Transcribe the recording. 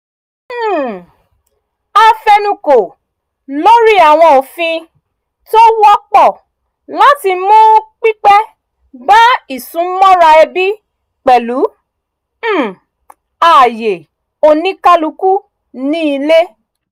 um a fẹnukò lórí àwọn òfin tó wọ́pọ̀ láti mú pípé bá isúnmọ́ra ẹbí pẹ̀lú um ààyè oníkálukú ní ilé